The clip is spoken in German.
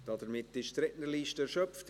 Damit ist die Rednerliste erschöpft.